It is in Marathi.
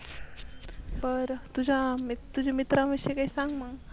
बर तुझा मित्र तुझे मित्राविषयी सांग मग